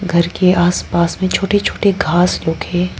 घर के आसपास में छोटे छोटे घास लोग है।